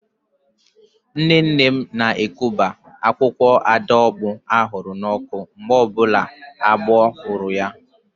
Nne nne m na-ekuba akwụkwọ ọdaaopuo ahụrụ n'ọkụ mgbe ọbụla agbọ hụrụ ya